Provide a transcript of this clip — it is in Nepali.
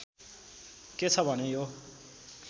के छ भने यो